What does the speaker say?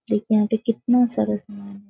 देखिए यहाँ पे कितना सारा समान --